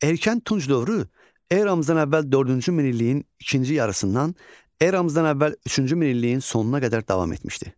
Erkən Tunc dövrü eramızdan əvvəl dördüncü minilliyin ikinci yarısından eramızdan əvvəl üçüncü minilliyin sonuna qədər davam etmişdi.